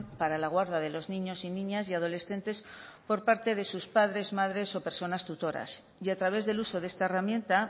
para la guarda de los niños y niñas y adolescentes por parte de sus padres madres o personas tutoras y a través del uso de esta herramienta